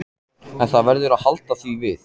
En það verður að halda því við.